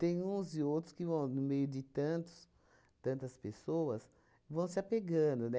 Tem uns e outros que vão, no meio de tantos tantas pessoas, vão se apegando,